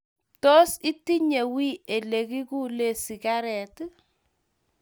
Tos, itinye wiy olegiguulen sigaret?